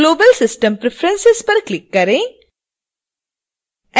global system preferences पर click करें